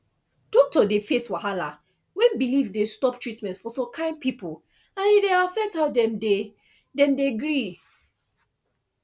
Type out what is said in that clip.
doctor dey face wahala when belief dey stop treatment for some kind people and e dey affect how dem dey dem dey gree